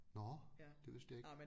Nåh det vidste jeg ikke